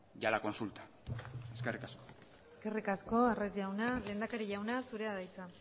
y a la consulta eskerrik asko eskerrik asko arraiz jauna lehendakari jauna zurea da hitza